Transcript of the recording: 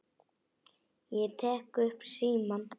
Ég tek upp símann.